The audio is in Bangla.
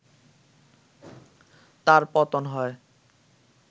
তার পতন হয়